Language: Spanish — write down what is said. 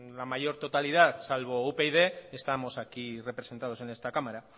la mayor totalidad salvo upyd estamos aquí representados en esta cámara